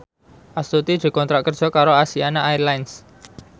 Astuti dikontrak kerja karo Asiana Airlines